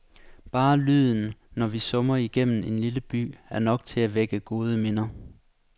Bare lyden, når vi summer igennem en lille by, er nok til at vække gode minder.